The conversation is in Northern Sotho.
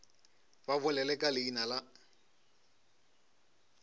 ba bolele ka leina la